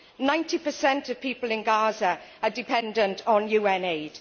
Ninety per cent of people in Gaza are dependent on UN aid.